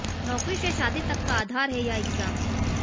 नौकरी से शादी तक का आधार है यह एग्जाम